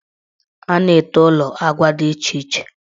A na-ete ụlọ agwa dị iche iche.